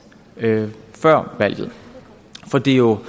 før valget for det er jo